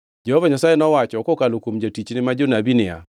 Jehova Nyasaye nowacho kokalo kuom jotichne ma jonabi niya,